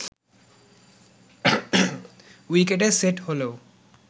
উইকেটে সেট হলেও